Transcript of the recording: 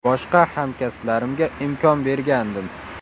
Boshqa hamkasblarimga imkon bergandim.